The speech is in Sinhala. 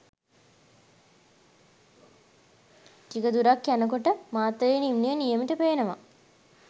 ටික දුරක් යන කොට මාතලේ නිම්නය නියමෙට පේනවා.